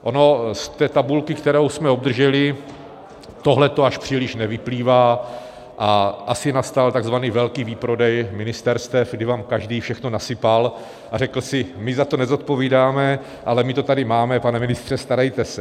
Ono z té tabulky, kterou jsme obdrželi, tohle až příliš nevyplývá a asi nastal tzv. velký výprodej ministerstev, kdy vám každý všechno nasypal a řekl si: my za to nezodpovídáme, ale my to tady máme, pane ministře, starejte se.